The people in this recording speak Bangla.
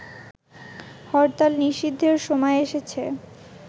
হরতাল নিষিদ্ধের সময় এসেছে